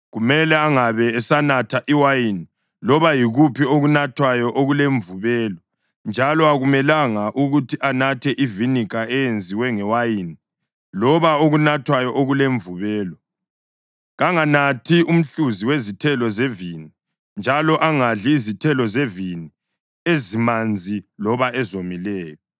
kumele angabe esanatha iwayini loba yikuphi okunathwayo okulemvubelo njalo akumelanga ukuthi anathe iviniga eyenziwe ngewayini loba okunathwayo okulemvubelo. Kanganathi umhluzi wezithelo zevini, njalo angadli izithelo zevini ezimanzi loba ezomileyo.